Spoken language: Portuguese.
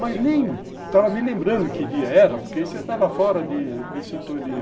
Mas nem estava me lembrando que dia era, porque eu estava fora de sintonia.